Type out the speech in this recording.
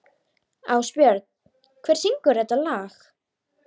Ásbjörn, hver syngur þetta lag?